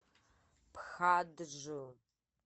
пхаджу